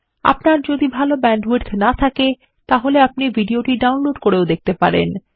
আপনার যদি ভাল ব্যান্ডউইডথ না থাকে আপনি এটি ডাউনলোড করেও দেখতে পারেন